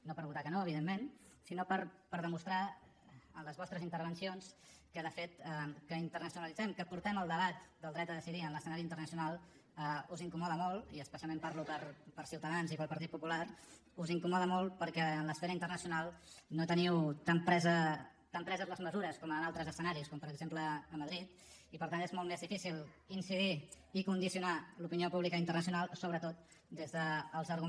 no per votar hi que no evidentment sinó per demostrar en les vostres intervencions que de fet que internacionalitzem que portem el debat del dret a decidir a l’escenari internacional us incomoda molt i especialment parlo per ciutadans i pel partit popular perquè en l’esfera internacional no teniu tan preses les mesures com en altres escenaris com per exemple a madrid i per tant és molt més difícil incidir i condicionar l’opinió pública internacional sobretot des dels arguments que feu servir que aquests sí que naufraguen més que robinson crusoe